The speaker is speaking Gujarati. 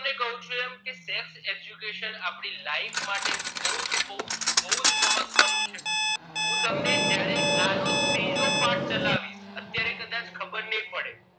હું તમને કહું છું એમ કે self education આપણી life માટે બહુ જ બહુ જ બહુ જ મહત્વ છે હું તમને જયારે આ નો ત્રીજો પાઠ ચલાવીશ અત્યારે કદાચ ખબર નહિ પડે